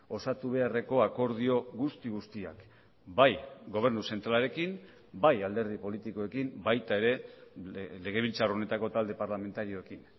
osatu beharreko akordio guzti guztiak bai gobernu zentralarekin bai alderdi politikoekin baita ere legebiltzar honetako talde parlamentarioekin